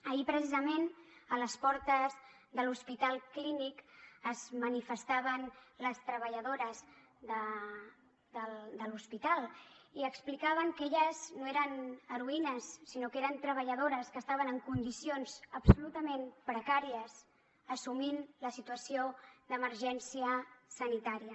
ahir precisament a les portes de l’hospital clínic es manifestaven les treballadores de l’hospital i explicaven que elles no eren heroïnes sinó que eren treballadores que estaven en condicions absolutament precàries assumint la situació d’emergència sanitària